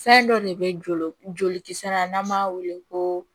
Fɛn dɔ de bɛ joli joli kisɛ la n'an m'a wele ko